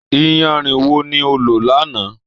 iyarun wo ni o lò lánàá?